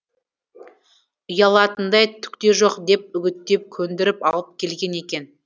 ұялатындай түк те жоқ деп үгіттеп көндіріп алып келген екен